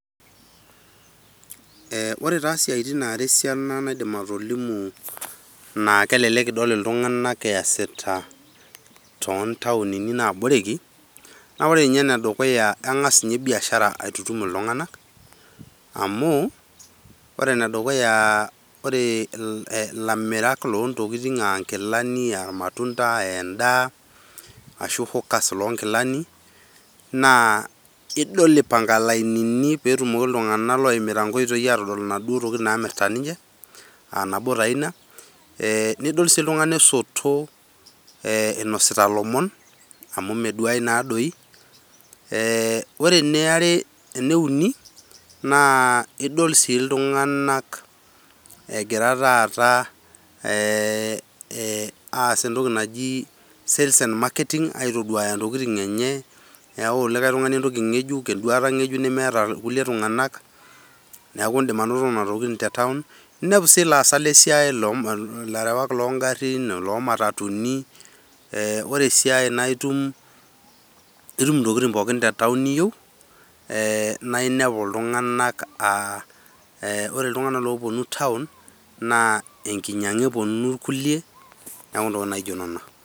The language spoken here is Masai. Aa ore taa siatin naara esiana naaidim naa kelelek idol iltung'ana yasita too taonini naaboreki, naa ore ninye ene dukuya naa kang'as ninye biashara aitutum iltung'ana, amu. Ore ene dukuya ore ilamirak loo tokitin ash kilani aah irmatunda aa edaa ashu hawkers loo nkilani naa idol ipang'a lainini pee etumoki iltung'ana oimita nkoitoi atodol naduo tokitin naamirta ninche. aah nabo taa ina eeh nidol si iltung'ana esoto inosita lomon amu meduai naadoi, aa ore ene eniare eneuni naaidol sii iltung'ana egira taata eeeeh aas etoki naji sales and marketing aitoduuya ntokitin enye neyau olikae tung'ani etoki ng'ejuk nemeeta irkulikae tung'anak, neaku idim tokitin te town ninepu sii ilaasak le siai larewak loo garin loo matatuni ee ore si enkae na itum nitum tokitin pooki te town niyieu eeh naa inepu iltung'ana aah ore iltung'ana ooponu town naa ekinyang'a eponu kulie tokitin najio nena.